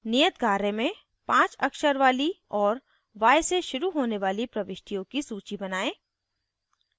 नियत कार्य में 5 अक्षर वाली और y से शुरू होने वाली प्रविष्टियों की सूची बनायें